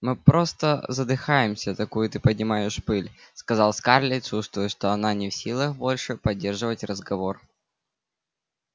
мы просто задыхаемся такую ты поднимаешь пыль сказала скарлетт чувствуя что она не в силах больше поддерживать разговор